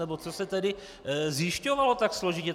Nebo co se tedy zjišťovalo tak složitě?